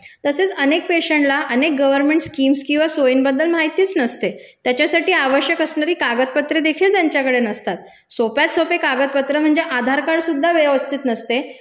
तसेच अनेक पेशंटला अनेक गर्व्हनमेंट स्कीम्स किंवा सोयींबद्दल माहितीच नसते त्याच्यासाठी आवश्यक असणारी कागदपत्रेदेखील त्यांच्याकडे नसतात, सोप्यात सोपे कागदपत्र म्हणजे आधार कार्डसुद्धा व्यवस्थीत नसते